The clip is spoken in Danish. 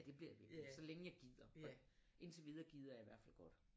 Ja det bliver jeg ved med så længe jeg gider og indtil videre gider jeg i hvert fald godt